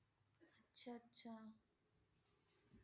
অচ্ছা! আচ্ছ!